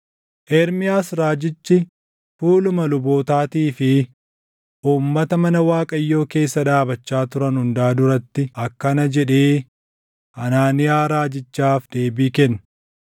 Ermiyaas raajichi fuuluma lubootaatii fi uummata mana Waaqayyoo keessa dhaabachaa turan hundaa duratti akkana jedhee Hanaaniyaa raajichaaf deebii kenne;